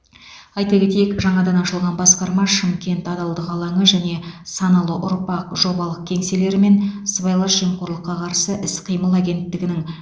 айта кетейік жаңадан ашылған басқарма шымкент адалдық алаңы және саналы ұрпақ жобалық кеңселерімен сыбайлас жемқорлыққа қарсы іс қимыл агенттігінің